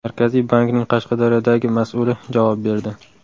Markaziy bankning Qashqadaryodagi mas’uli javob berdi.